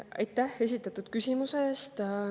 Aitäh esitatud küsimuse eest!